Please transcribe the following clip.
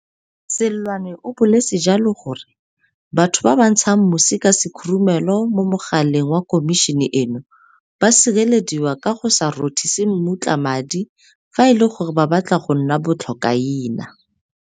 Seloane o boletse jalo gore batho ba ba ntshang mosi ka sekhurumelo mo mogaleng wa Khomišene eno ba sirelediwa ka go se rothise mmutla madi fa e le gore ba batla go nna bo tlhokaina.